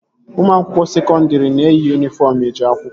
Ụmụ akwụkwọ sekọndri na-eyi yunifọm eje akwụkwọ